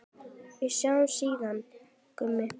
Við sjáumst síðar, Gummi.